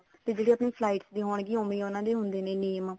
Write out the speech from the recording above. ਤੇ ਜਿਹੜੇ ਆਪਣੇ flights ਵੀ ਹੋਣਗੀਆਂ ਉਵੇਂ ਉਹਨਾ ਦੇ ਹੁੰਦੇ ਨੇ name